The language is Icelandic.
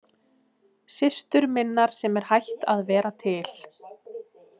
Systur minnar sem er hætt að vera til.